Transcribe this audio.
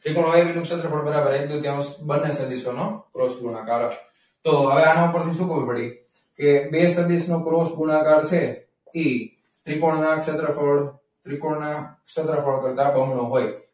ત્રિકોણ O A B નું ક્ષેત્રફળ બરાબર એક દુત્યૌંશ બંને સદિશોનો ક્રોસ ગુણાકાર. તો હવે આના ઉપરથી શું ખબર પડી? કે બે સદીશ નું ક્રોસ ગુણાકાર છે. એ ત્રિકોણ ના ક્ષેત્રફળ ત્રિકોણ ના ક્ષેત્રફળ કરતાં બમણો હોય.